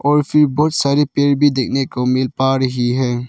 और फिर बहुत सारे पेड़ भी देखने को मिल पा रही है।